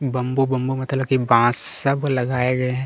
Bamboo-bamboo मतलब की बांस सब लगाये गये हैं।